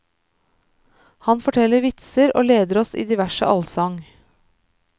Han forteller vitser og leder oss i diverse allsang.